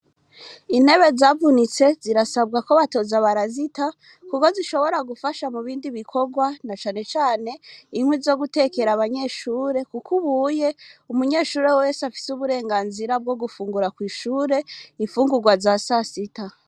Intebe zavunitse zirasabwa ko batoza abarasita, kuko zishobora gufasha mu bindi bikorwa na canecane inkwi zo gutekera abanyeshure, kuko ubuye umunyeshure wwese afise uburenganzira bwo gufungura kw'ishure imfungurwa za sasita.